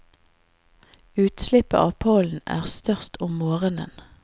Utslippet av pollen er størst om morgenen.